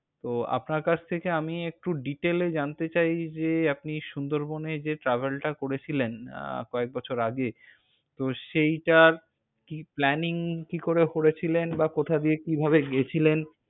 তো আপনার কাছ থেকে আমি একটু detail এ জানতে চাইনি যে আপনি সুন্দরবনে যে travel টা করেছিলেন, আহ কয়েক বছর আগে, তো সেইটার, কি planning কি করে করেছিলেন, বা কোথা দিয়ে কি ভাবে গিয়েছিলেন।